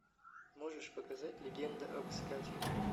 можешь показать легенда об искателе